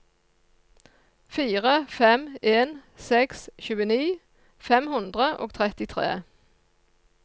fire fem en seks tjueni fem hundre og trettitre